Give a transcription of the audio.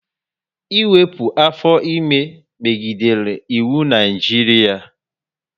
Ịwepụ afọ ime megidere iwu na Naijiria